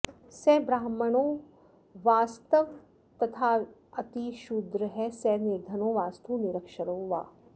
स ब्राह्मणो वास्त्वथवातिशूद्रः स निर्धनो वास्तु निरक्षरो वा